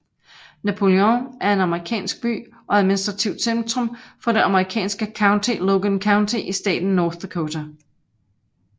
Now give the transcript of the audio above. Napoleon er en amerikansk by og administrativt centrum for det amerikanske county Logan County i staten North Dakota